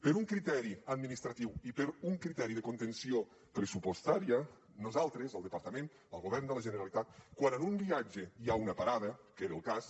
per un criteri administratiu i per un criteri de contenció pressupostària nosaltres el departament el govern de la generalitat quan en un viatge hi ha una parada que era el cas